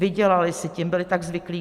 Vydělali si tím, byli tak zvyklí.